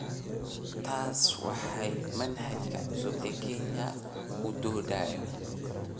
Taasi waa waxa manhajka cusub ee Kenya u doodayo.